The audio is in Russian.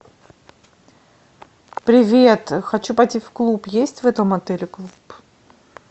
привет хочу пойти в клуб есть в этом отеле клуб